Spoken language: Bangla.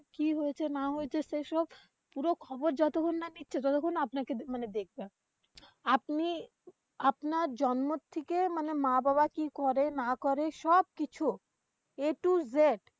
কি হয়েছে না হয়েছে, সেইসব পুরো খবর যতক্ষণ না নিচ্ছে ততক্ষণ আপনাকে মানে দেখবে। আপনি আপনার জন্ম থেকে মানে মা-বাবা কি করে না করে সবকিছু A to Z